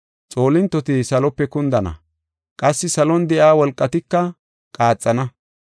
Xoolintoti salope kundana; qassi salon de7iya wolqatika qaaxana.